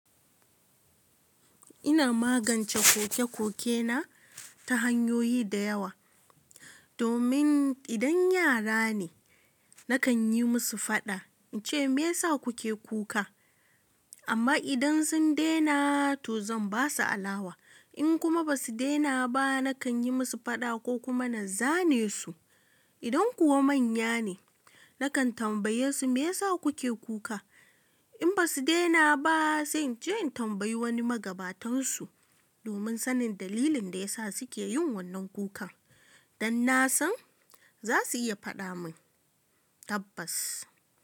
Ina magance koke-koke na ta hanyoyi da yawa. Domin idan yara ne, na kan yi musu fada, ice me ya sa kuke kuka? Amma idan sun dena to zan basu alawa. In kuma ba su dena ba, na kan yi musu fada ko kuma na zane su. Idan kuwa manya ne, na kan tambaye su me ya sa kuke kuka? In ba su dena ba, zan ce in tambayi wani magabatansu, domin sanin dalilin da ya sa su ke yin wannan kukan. Dan na san za su iya fada mun tabbas.